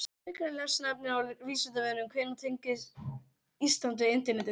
Frekara lesefni á Vísindavefnum: Hvenær tengdist Ísland við internetið?